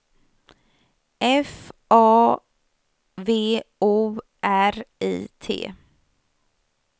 F A V O R I T